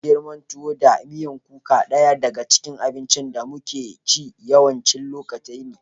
Yin girima, tuwo da miyan kuka daya daga cikin abincin da muke ci yawancin lokatai ne.